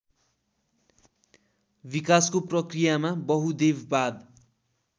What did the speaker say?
विकासको प्रक्रियामा बहुदेववाद